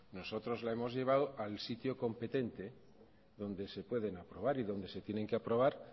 nosotros la hemos llevado al sitio competente donde se pueden aprobar y donde se tienen que aprobar